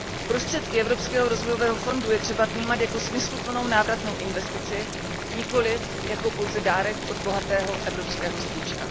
Prostředky Evropského rozvojového fondu je třeba vnímat jako smysluplnou návratnou investici, nikoliv pouze jako dárek od bohatého evropského strýčka.